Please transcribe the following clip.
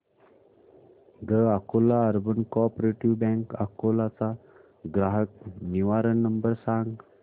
the Akola urban cooperative bank Akola चा ग्राहक निवारण नंबर सांग